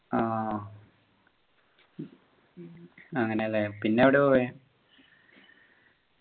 ആഹ് അങ്ങനെ അല്ലെ പിന്നെ എവിടെയാ പോയെ